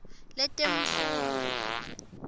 letemfundvo